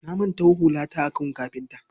Na manto hulata a gun kafinta.